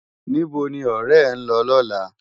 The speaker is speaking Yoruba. Nibó ni òrè è n lò lòlá?